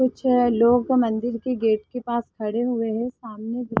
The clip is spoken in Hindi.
कुछ लोग मंदिर के गेट के पास खड़े हुए है सामने--